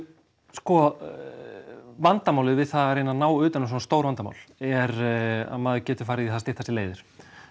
sko vandamálið við það að reyna að ná utan um svona stór vandamál er að maður getur farið í það að stytta sér leiðir